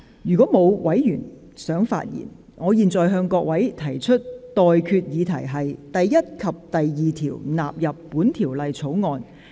如果沒有委員想發言，我現在向各位提出的待決議題是：第1及2條納入本條例草案。